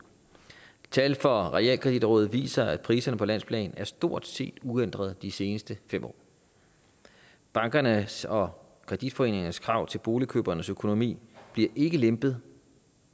tal fra realkreditrådet viser at priserne på landsplan stort set har uændrede de seneste fem år bankernes og kreditforeningernes krav til boligkøbernes økonomi bliver ikke lempet